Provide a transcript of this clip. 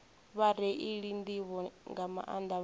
vhareili nḓivho nga maanḓa vhane